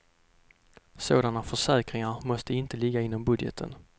Sådana försäkringar måste inte ligga inom budgeten.